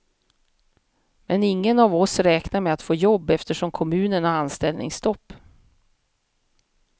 Men ingen av oss räknar med att få jobb, eftersom kommunen har anställningsstopp.